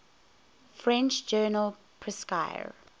french journal prescrire